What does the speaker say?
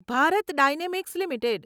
Bharat dynamics limited